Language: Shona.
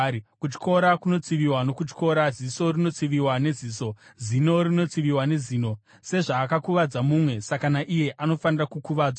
Kutyora kunotsiviwa nokutyora, ziso rinotsiviwa neziso, zino rinotsiviwa nezino. Sezvaakuvadza mumwe saka naiye anofanira kukuvadzwa.